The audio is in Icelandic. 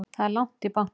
Það er langt í bankann!